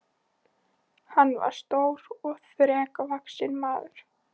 Hann var stór og þrekvaxinn maður.